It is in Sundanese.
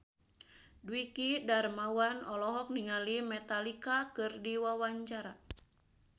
Dwiki Darmawan olohok ningali Metallica keur diwawancara